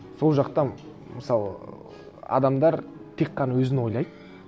сол жақта мысалы адамдар тек қана өзін ойлайды